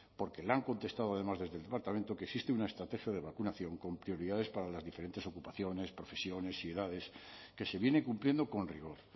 porque le han contestado además desde el departamento que existe una estrategia de vacunación con prioridades para las diferentes ocupaciones profesiones y edades que se viene cumpliendo con rigor